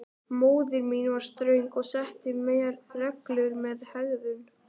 Móðir mín var ströng og setti mér reglur um hegðun.